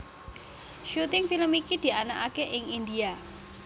Syuting film iki dianakaké ing India